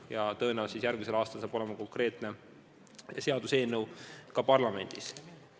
Ja tõenäoliselt järgmisel aastal saab olema konkreetne seaduseelnõu parlamendis.